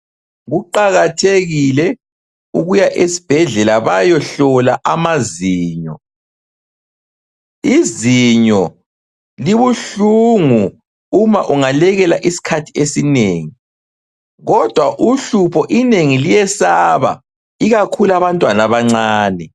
Kuqakathekile ukuya esibhedlela bayohlola amazinyo. Izinyo libuhlungu uma ungalekela isikhathi esinengi. Kodwa uhlupho inengi liyesaba ikakhulu abantwana abancane.